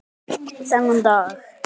Þennan dag.